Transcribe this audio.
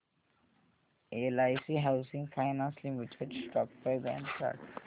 LIC housing finance limited stock price and chart